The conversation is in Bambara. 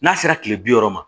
N'a sera kile bi wɔɔrɔ ma